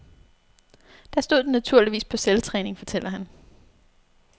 Der stod den naturligvis på selvtræning, fortæller han.